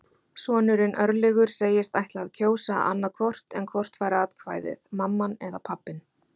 Sonurinn, Örlygur, segist ætla að kjósa annað hvort en hvort fær atkvæðið, mamman eða pabbinn?